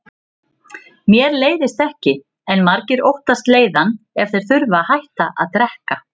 Mér leiðist ekki, en margir óttast leiðann ef þeir þurfa að hætta að drekka.